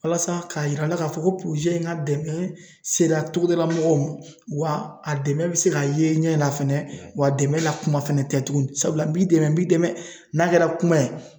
Walasa k'a yira aw la k'a fɔ ko in ka dɛmɛ sera togodala mɔgɔw ma, wa a dɛmɛ bɛ se ka ye ɲɛ la fɛnɛ ,wa dɛmɛ la kuma fana tɛ tugun sabula n b'i dɛmɛ bi n'a kɛra kuma ye